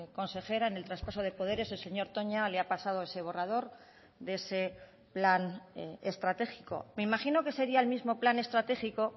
consejera en el traspaso de poderes el señor toña le ha pasado ese borrador de ese plan estratégico me imagino que sería el mismo plan estratégico